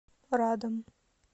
радом